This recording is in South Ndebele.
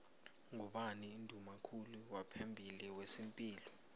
ngubani unduna kulu waphambili wezepilo